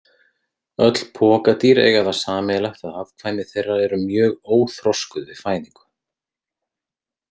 Öll pokadýr eiga það sameiginlegt að afkvæmi þeirra eru mjög óþroskuð við fæðingu.